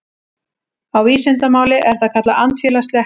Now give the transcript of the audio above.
Á vísindamáli er það kallað andfélagsleg hegðun.